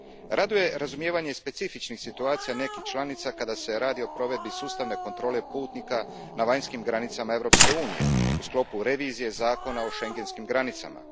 Raduje razumijevanje specifičnih situacija nekih članica kada se radi o provedbi sustavne kontrole putnika na vanjskim granicama Europske unije, u sklopu revizije zakona o schengenskim granicama.